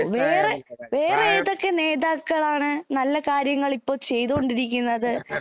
വേറെ വേറെ ഏതോ നേതാക്കളാണ് നല്ല കാര്യങ്ങള് ഇപ്പൊ ചെയ്തുകൊണ്ടിരിക്കുന്നത്